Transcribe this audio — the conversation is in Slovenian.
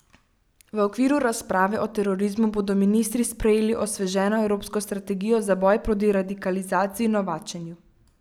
V okviru razprave o terorizmu bodo ministri sprejeli osveženo evropsko strategijo za boj proti radikalizaciji in novačenju.